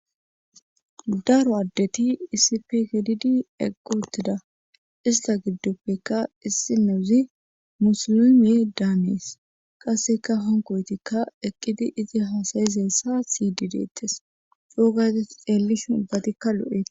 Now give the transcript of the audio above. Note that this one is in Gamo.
daro addeti isipe gididi eqqi utida ista giddoppekka issi nezi musulimiye daanees qasseka honkoytikka eqqidi izi hasayizessa siydi deettes coo gade xeellish ubbatikka lo'eeta